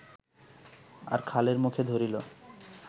আর খালের মুখে ধরিল